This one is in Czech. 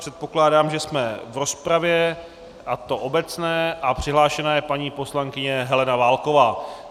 Předpokládám, že jsme v rozpravě, a to obecné, a přihlášena je paní poslankyně Helena Válková.